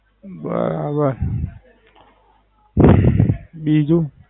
બરાબર. બીજું?